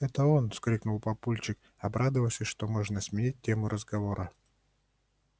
это он вскрикнул папульчик обрадовавшись что можно сменить тему разговора